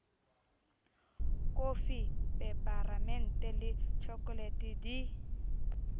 kofi peparemente le tjhokolete di